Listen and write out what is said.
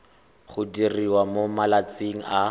go diriwa mo malatsing a